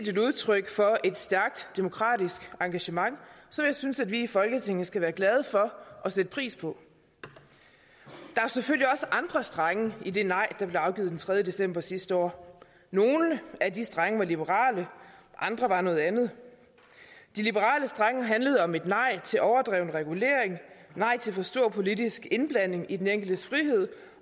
et udtryk for et stærkt demokratisk engagement som jeg synes vi i folketinget skal være glade for og sætte pris på der er selvfølgelig også andre strenge i det nej der blev afgivet den tredje december sidste år nogle af de strenge var liberale og andre var noget andet de liberale strenge handlede om et nej til overdreven regulering et nej til for stor politisk indblanding i den enkeltes frihed